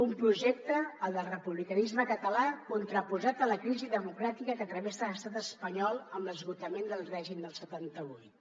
un projecte el del republicanisme català contraposat a la crisi democràtica que travessa l’estat espanyol amb l’esgotament del règim del setanta vuit